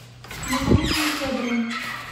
наталии федоровны